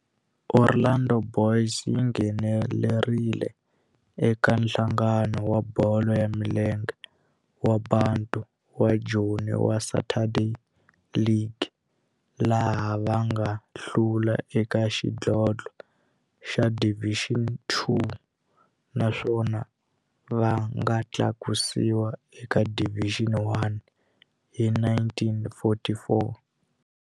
Orlando Boys yi nghenelerile eka Nhlangano wa Bolo ya Milenge wa Bantu wa Joni wa Saturday League, laha va nga hlula eka xidlodlo xa Division Two naswona va nga tlakusiwa eka Division One hi 1944.